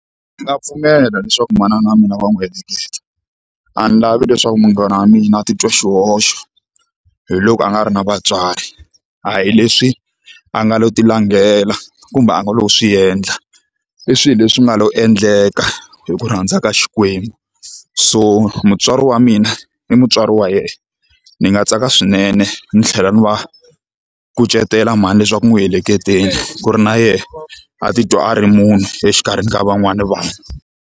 Ndzi nga pfumela leswaku manana wa mina va n'wi heleketa a ni lavi leswaku munghana wa mina a titwa xihoxo hi loko a nga ri na vatswari a hi leswi a nga lo ti langela kumbe a nga loko swi endla i swilo leswi nga lo endleka hi ku rhandza ka Xikwembu so mutswari wa mina i mutswari wa yena ni nga tsaka swinene ni tlhela ni va kucetela mhani leswaku n'wi ehleketeni ku ri na yena a titwa a ri munhu exikarhi ni ka van'wana vanhu.